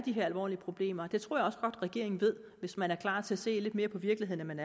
er alvorlige problemer det tror jeg regeringen ved hvis man er klar til at se lidt mere på virkeligheden end man